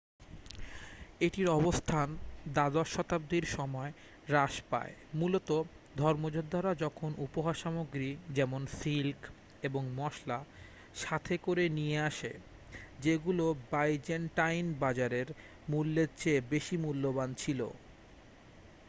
এটির অবস্থান দ্বাদশ শতাব্দীর সময় হ্রাস পায় মূলত ধর্মযোদ্ধারা যখন উপহার সামগ্রী যেমন সিল্ক এবং মসলা সাথে করে নিয়ে আসে যেগুলো বাইজেন্টাইন বাজারের মূল্যের চেয়ে বেশি মূল্যবান ছিল